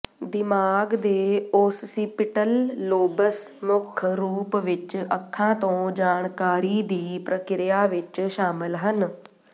ਦਿਮਾਗ ਦੇ occipital lobes ਮੁੱਖ ਰੂਪ ਵਿੱਚ ਅੱਖਾਂ ਤੋਂ ਜਾਣਕਾਰੀ ਦੀ ਪ੍ਰਕ੍ਰਿਆ ਵਿੱਚ ਸ਼ਾਮਲ ਹਨ